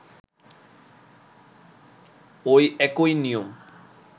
ঐ একই নিয়ম